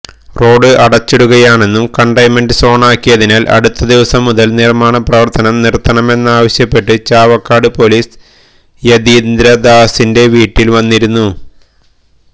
road അടച്ചിടുകയാണെന്നും containment സോണാക്കിയതിനാൽ അടുത്ത ദിവസം മുതൽ നിർമാണ പ്രവർത്തനം നിർത്തണമെന്നുമാവശ്യപ്പെട്ട് ചാവക്കാട് പൊലീസ് യതീന്ദ്രദാസിെൻറ വീട്ടിൽ വന്നിരുന്നു